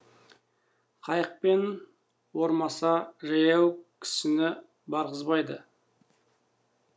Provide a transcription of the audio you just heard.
қайықпен ормаса жаяу кісіні барғызбайды